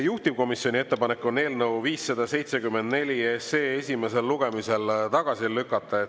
Juhtivkomisjoni ettepanek on eelnõu 574 esimesel lugemisel tagasi lükata.